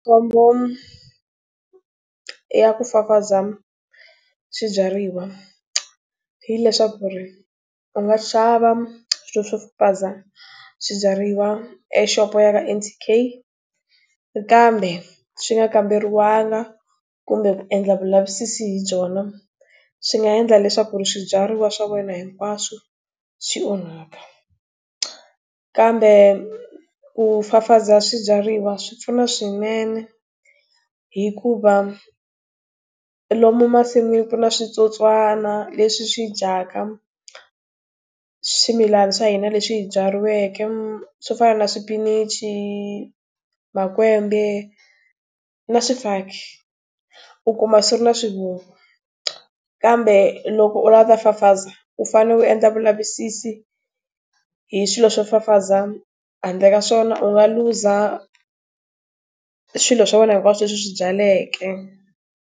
Ya ku fafaza, swibyariwa, hileswaku ri, u nga xavanswilo swo fafaza swibyariwa exopo ya ka N_T_K kambe swi nga kamberiwangi kumbe ku endla vulavisisi hi byona, swi nga endla leswaku ri swibyariwa swa wena hinkwaswo swi onhaka. Kambe ku fafaza swibyariwa swi pfuna swinene hikuva lomu masiku na switsotswana leswi swi dyaka swimilana swa hina leswi hi byariweke, swo fana na swipinichi, makwembe, na swifaki. U kuma swi ri na swivungu. Kambe loko u lava ku ta fafaza, u fanele u endla vulavisisi, hi swilo swo fafaza, handle ka swona u nga luza swilo swa wena hinkwaswo leswi u swi byaleke.